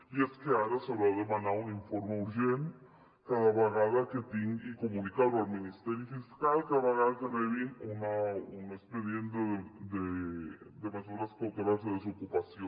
i és que ara s’haurà de demanar un informe urgent i comunicar ho al ministeri fiscal cada vegada que rebin un expedient de mesures cautelars de desocupació